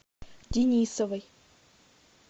денисовой